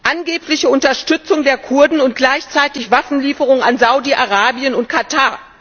angebliche Unterstützung der Kurden und gleichzeitig Waffenlieferungen an Saudi Arabien und Katar